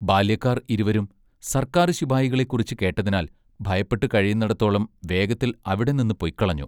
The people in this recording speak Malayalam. ബാല്യക്കാർ ഇരുവരും സർക്കാർ ശിപായികളെക്കുറിച്ച് കേട്ടതിനാൽ ഭയപ്പെട്ട് കഴിയുന്നെടത്തോളം വേഗത്തിൽ അവിടെ നിന്ന് പൊയ്ക്കളഞ്ഞു.